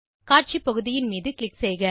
காட்சி பகுதியின் மீது க்ளிக் செய்க